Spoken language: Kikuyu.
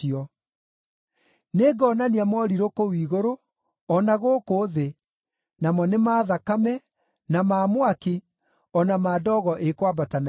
Nĩngonania morirũ kũu igũrũ, o na gũkũ thĩ, namo nĩ ma thakame, na ma mwaki, o na ma ndogo ĩkwambata na igũrũ.